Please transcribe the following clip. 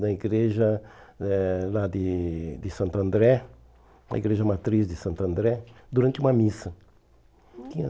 na igreja eh lá de de Santo André, na igreja matriz de Santo André, durante uma missa.